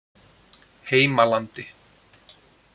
Heimalandi